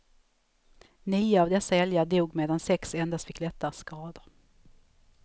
Nio av dessa älgar dog medan sex endast fick lättare skador.